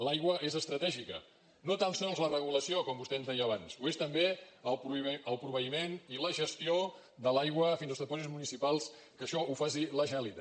l’aigua és estratègica no tan sols la regulació com vostè ens deia abans ho és també el proveïment i la gestió de l’aigua fins als depòsits municipals que això ho faci la generalitat